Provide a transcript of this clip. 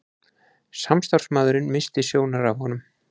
Samstarfsmaðurinn missti sjónar af honum.